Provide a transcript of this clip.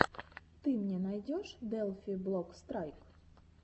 ты мне найдешь делфи блок страйк